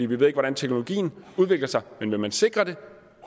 vi ved ikke hvordan teknologien udvikler sig men vil man sikre det